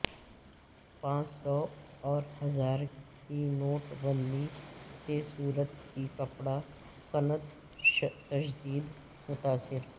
پانچ سو اور ہزار کی نوٹ بندی سے سورت کی کپڑا صنعت شدید متاثر